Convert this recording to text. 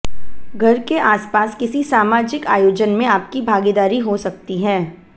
घर के आसपास किसी सामाजिक आयोजन में आपकी भागीदारी हो सकती है